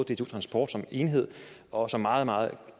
dtu transport som enhed og som meget meget